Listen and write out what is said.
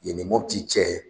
Yen ni Mɔputi cɛ